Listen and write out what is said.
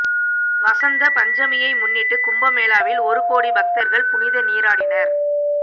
வசந்த பஞ்சமியை முன்னிட்டு கும்பமேளாவில் ஒரு கோடி பக்தர்கள் புனித நீராடினர்